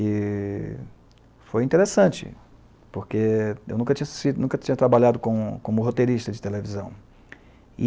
E foi interessante, porque eu nunca tinha se, nunca tinha trabalhado como como roteirista de televisão. E